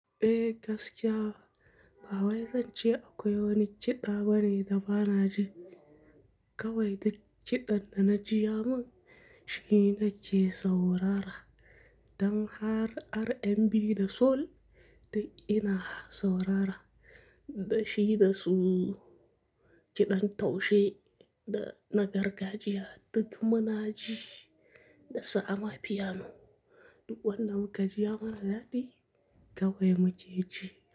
Eh gaskiya ba wai zance akwai wani kiɗa bane da ba na ji. Kawai duk kiɗan da na jiya man shi na ce saurara. Dan har RnB da soul duk ina saurara. Da shi da su kiɗan taushe da na gargajiya duk muna ji da sa'a ma piano. Duk wannan ka jiya mana daɗi kawai muke ji.